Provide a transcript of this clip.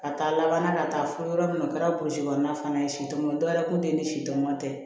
Ka taa laban na ka taa fo yɔrɔ min na o kɛra polisi kɔnɔna fana ye sitɔn dɔw yɛrɛ kun tɛ ni si tomboucaɔn tɛ